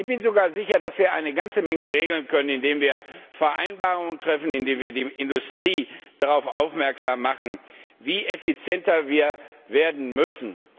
Ich bin sogar sicher, dass wir eine ganze Menge regeln können, indem wir Vereinbarungen treffen, indem wir die Industrie darauf aufmerksam machen, wie viel effizienter wir werden müssen.